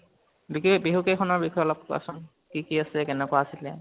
গতিকে বিহু কেইখনৰ বিষয়ে অলপ কোৱাছোন | কি কি আছে, কেনেকুৱা আছিলে